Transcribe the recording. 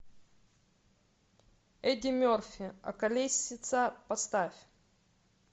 эдди мерфи околесица поставь